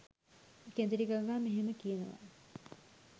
කෙඳිරි ගගා මෙහෙම කියනවා.